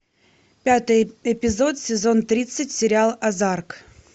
пятый эпизод сезон тридцать сериал озарк